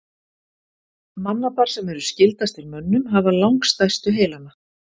Mannapar sem eru skyldastir mönnum hafa langstærstu heilana.